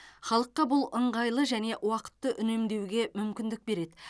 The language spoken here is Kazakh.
халыққа бұл ыңғайлы және уақытты үнемдеуге мүмкіндік береді